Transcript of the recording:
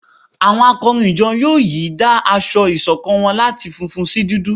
Awọn akọrin ìjọ yóò yìí dá aṣọ ìṣọ̀kan wọn láti fúnfún sí dúdú